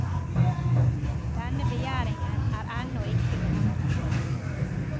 Denne begjæringen er ennå ikke behandlet.